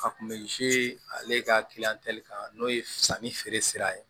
A kun bɛ ale ka kan n'o ye sanni feere ye